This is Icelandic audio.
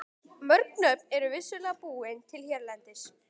Mörg nöfn eru vissulega búin til hérlendis.